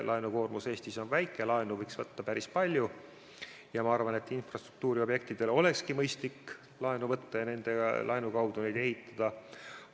Laenukoormus Eestis on väike, laenu võiks võtta päris palju ja ma arvan, et infrastruktuuriobjektide huvides olekski mõistlik laenu võtta ja laenu abil neid ehitada.